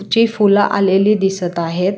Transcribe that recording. जे फुलं आलेली दिसत आहेत.